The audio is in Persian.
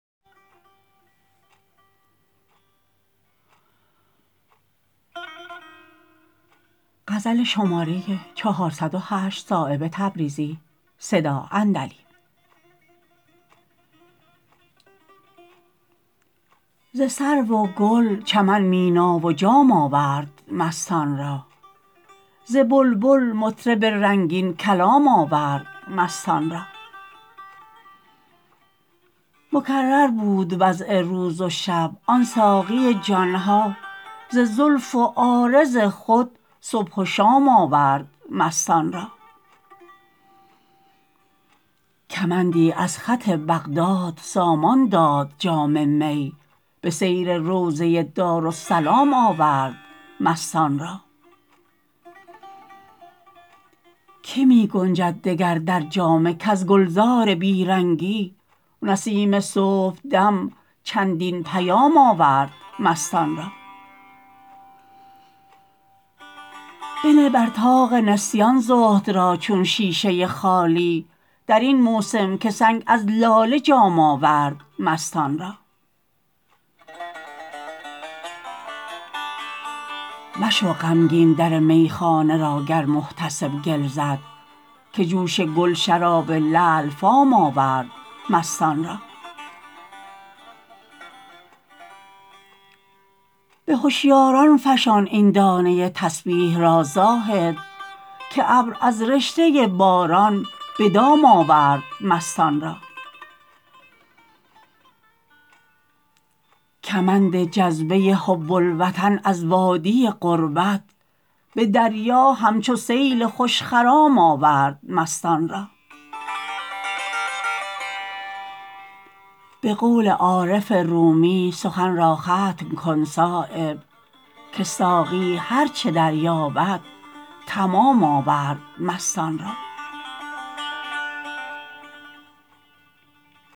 ز سرو و گل چمن مینا و جام آورد مستان را ز بلبل مطرب رنگین کلام آورد مستان را مکرر بود وضع روز وشب آن ساقی جان ها ز زلف و عارض خود صبح و شام آورد مستان را کمندی از خط بغداد سامان داد جام می به سیر روضه دارالسلام آورد مستان را که می گنجد دگر در جامه کز گلزار بیرنگی نسیم صبحدم چندین پیام آورد مستان را بنه بر طاق نسیان زهد را چون شیشه خالی درین موسم که سنگ از لاله جام آورد مستان را مشو غمگین در میخانه را گر محتسب گل زد که جوش گل شراب لعل فام آورد مستان را به هشیاران فشان این دانه تسبیح را زاهد که ابر از رشته باران به دام آورد مستان را کمند جذبه حب الوطن از وادی غربت به دریا همچو سیل خوشخرام آورد مستان را به قول عارف رومی سخن را ختم کن صایب که ساقی هر چه درباید تمام آورد مستان را